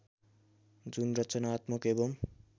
जुन रचनात्मक एवं